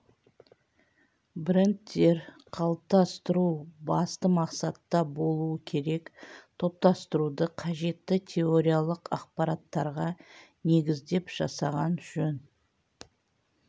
брендтер қалыптастыру басты мақсатта болуы керек топтастыруды қажетті теориялық ақпараттарға негіздеп жасаған жөн